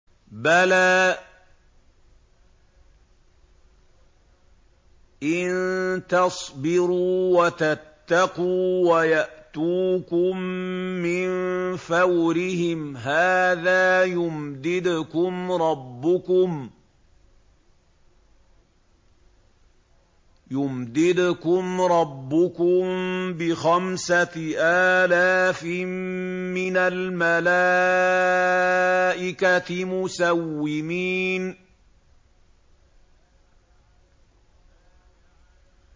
بَلَىٰ ۚ إِن تَصْبِرُوا وَتَتَّقُوا وَيَأْتُوكُم مِّن فَوْرِهِمْ هَٰذَا يُمْدِدْكُمْ رَبُّكُم بِخَمْسَةِ آلَافٍ مِّنَ الْمَلَائِكَةِ مُسَوِّمِينَ